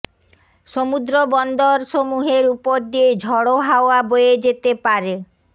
সমুদ্র বন্দরসমূহের ওপর দিয়ে ঝড়ো হাওয়া বয়ে যেতে পারে